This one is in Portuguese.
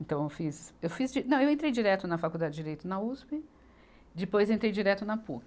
Então, eu fiz, eu fiz di, não, eu entrei direto na Faculdade de Direito na Uspe, depois eu entrei direto na Puc.